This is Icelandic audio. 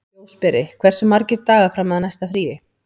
Ljósberi, hversu margir dagar fram að næsta fríi?